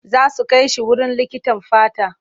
Za su kai shi wurin likitan fata.